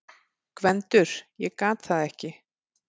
GVENDUR: Ég gat það ekki!